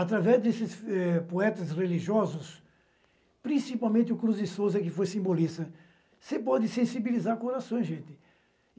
Através desses, eh, poetas religiosos, principalmente o Cruz de Souza, que foi simbolista, você pode sensibilizar o corações, gente.